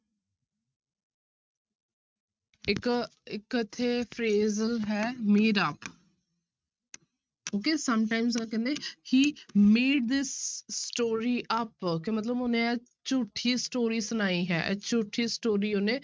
ਇੱਕ ਇੱਕ ਇੱਥੇ ਫਿਰ ਹੈ made up okay sometimes ਕਹਿੰਦੇ he made this story up ਕਿ ਮਤਲਬ ਉਹਨੇ ਇਹ ਝੂਠੀ story ਸੁਣਾਈ ਹੈ ਇਹ ਝੂਠੀ story ਉਹਨੇ